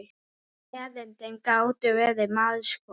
Erindin gátu verið margs konar.